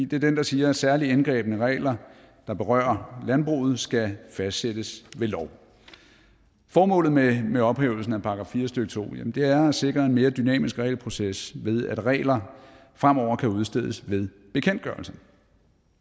det er den der siger at særligt indgribende regler der berører landbruget skal fastsættes ved lov formålet med med ophævelsen af § fire stykke to er at sikre en mere dynamisk regelproces ved at regler fremover kan udstedes ved bekendtgørelser